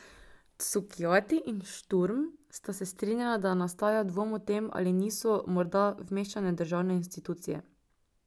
Cukjati in Šturm sta se strinjala, da nastaja dvom o tem, ali niso morda vmešane državne institucije.